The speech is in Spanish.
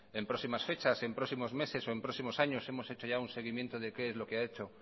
en próximas fechas en próximos meses o en próximos años hemos hecho ya un seguimiento de qué es lo que ha hechos